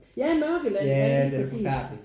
Ja Mørkeland ja lige præcis